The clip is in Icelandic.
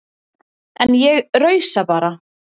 En ég rausa bara.